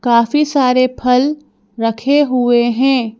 काफी सारे फल रखे हुए हैं।